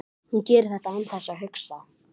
Hvað hef ég gert á hlut blessaðs drengsins?